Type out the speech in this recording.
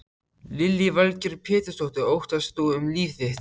Lillý Valgerður Pétursdóttir: Óttaðist þú um líf þitt?